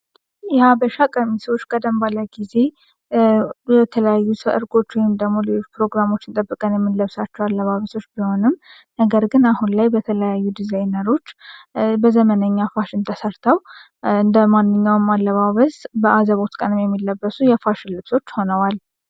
የሀበሻ ቀሚስ በአላት በሆኑ ጊዜ ወይም ደግሞ የሰርግ ፕሮግራም ጠብቀን የምንለብሳቸዋለሁ አበሶች ሲሆን ነገር ግን አሁን ላይ በተለያዩ ዲዛይነሮች ዘመናዊ ፋሽን ተሰርተው እንደማንኛውም ላማረ አለባበስ በአዘቦት ቀን የምንለብሰው ልብሶች ሆነዋል።